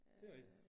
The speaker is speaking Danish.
Det rigtig